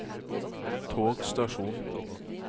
togstasjon